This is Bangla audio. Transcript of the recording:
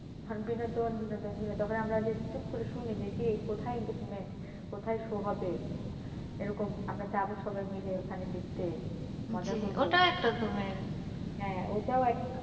বিনোদন বিনোদন বিনোদন তখন আমরা যে চুপ করে শুনি যে কিরে কোথায় entertainment, কোথায় show হবে? এরকম আমরা যাবো সবাই মিলে ওখানে দেখতে হ্যাঁ, ওটাও এক,